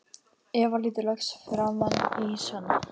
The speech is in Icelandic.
Eva lítur loks framan í Svenna.